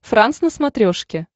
франс на смотрешке